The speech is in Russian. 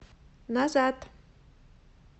назад